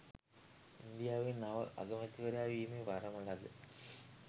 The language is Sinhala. ඉන්දියාවේ නව අගමැතිවරයා වීමේ වරම් ලද